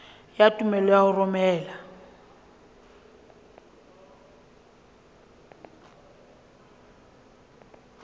ya tumello ya ho romela